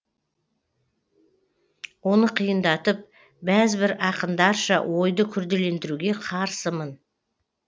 оны қиындатып бәз бір ақындарша ойды күрделендіруге қарсымын